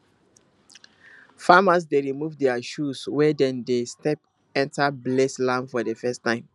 farmers dey remove their shoes when dem dey step enter blessed land for the first time